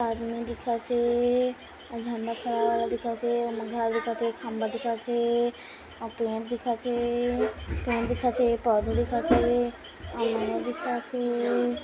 एक आदमी दिखत हे झण्डा फहराए वाला दिखत हे ओमा घर दिखत हे एक खंबा दिखत हे अउ पेड़ दिखत हे पौधा दिखत हे अउ नवा दिखत हे।